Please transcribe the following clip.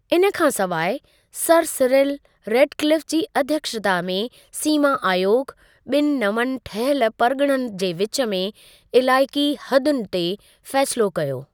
इन खां सवाइ, सर सिरिल रेडक्लिफ जी अध्यक्षता में सीमा आयोग, ॿिनि नवनि ठहियल परिॻिणनि जे विच में इलाइक़ी हदुनि ते फ़ैसिलो कयो।